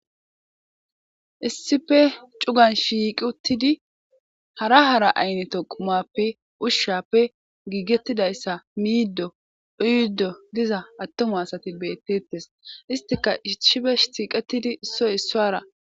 Issife cugan shiiq uttidi hara hara ayneto qumappe ushshappe giigettidayssa miiddo uyddo diza attoma asati bettettes istika iishifesh siiqetidi issoy issuwara.